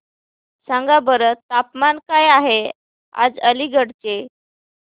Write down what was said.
सांगा बरं तापमान काय आहे आज अलिगढ चे